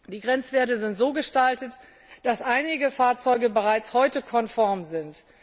Die Grenzwerte sind so gestaltet, dass einige Fahrzeuge bereits heute konform sind.